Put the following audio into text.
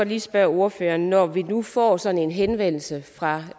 lige spørge ordføreren når vi nu får sådan en henvendelse fra